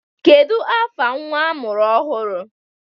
Kedu afa nnwa amụrụ ọhụrụ?